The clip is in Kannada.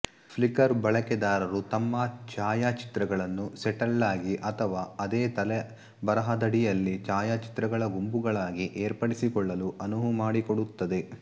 ಫ್ಲಿಕರ್ ಬಳಕೆದಾರರು ತಮ್ಮ ಛಾಯಾಚಿತ್ರಗಳನ್ನು ಸೆಟ್ಗಳಾಗಿ ಅಥವಾ ಅದೇ ತಲೆಬರಹದಡಿಯಲ್ಲಿ ಛಾಯಾಚಿತ್ರಗಳ ಗುಂಪುಗಳಾಗಿ ಏರ್ಪಡಿಸಿಕೊಳ್ಳಲು ಅನುವು ಮಾಡಿಕೊಡುತ್ತದೆ